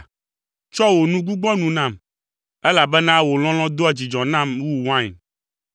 Tsɔ wò nu gbugbɔ nu nam, elabena wò lɔlɔ̃ doa dzidzɔ nam wu wain.